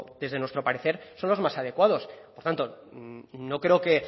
desde nuestro parecer son los más adecuados por tanto no creo que